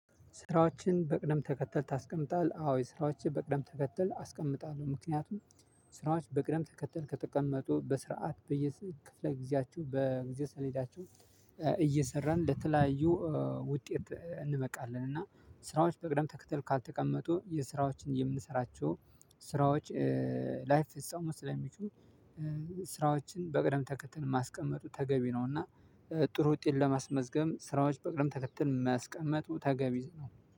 ስራዎችን በቅደም ተከተል ታስቀምጣለህ? አዎ ስራዎችን በቅደም ተከተል አስቀምጣለሁ። ምክንያቱም ስራዎች በቅደም ተከተል ከተቀመጡ በስርዓት በየ ክፍለ ጊዜያቸው በጊዜ ሰሌዳቸው እየሰራን ለተለያዩ ውጤት እንበቃለን። እና ስራዎች በቅደም ተከተል ካልተቀመጡ የስራዎችን የምንሰራቸው ስራዎች ላይፈጸሙ ስለሚችሉ ስራዎችን በቅደም ተከተን ማስቀመጡ ተገቢ ነውና። ጥሩ ውጤት ለማስመዝገብ ስራዎች በቅደም ተከተል ማስቀመጡ ተገቢ ነው